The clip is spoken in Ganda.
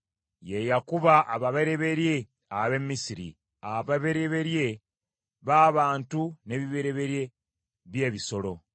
Ye yakuba ababereberye ab’e Misiri; ababereberye b’abantu n’ebibereberye by’ebisolo.